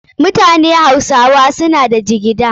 Mutanen hausawa suna da jigida.